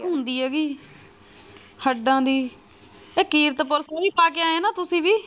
ਹੁੰਦੀ ਹੈਗੀ ਹਡਾਂ ਦੀ ਤੇ ਕੀਰਤਪੁਰ ਖੂਹੀ ਪਾ ਕੇ ਆਏ ਉਹਨਾਂ ਤੁਸੀਂ ਵੀ।